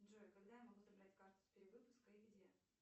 джой когда я могу забрать карту с перевыпуска и где